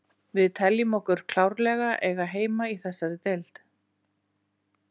Við teljum okkur klárlega eiga heima í þessari deild.